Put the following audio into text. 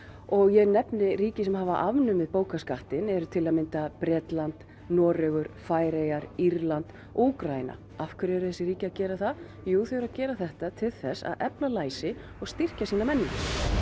og ég nefni ríki sem hafa afnumið bókaskattinn eru til að mynda Bretland Noregur Færeyjar Írland og Úkraína af hverju eru þessi ríki að gera það jú þau eru að gera þetta til þess að efla læsi og styrkja sína menningu